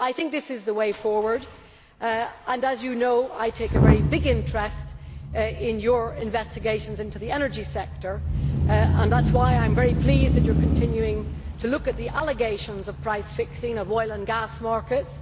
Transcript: I think this is the way forward and, as you know, I take a very big interest in your investigations into the energy sector. That is why I am very pleased that you are continuing to look at the allegations of price fixing of oil and gas markets.